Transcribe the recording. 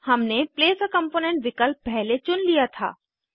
हमने place a component विकल्प पहले चुन लिया था